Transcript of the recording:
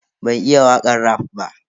Ban iya wakan raf ba.